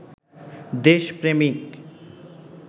দেশপ্রেমিক